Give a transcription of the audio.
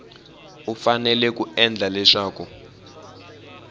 u fanele ku endla leswaku